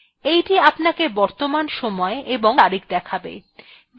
এইটি আপনাকে বর্তমান সময় এবং তারিখ দেখাবে